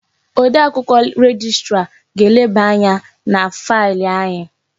Odee akwụkwọ rejistra ga-eleba anya na failị anyị.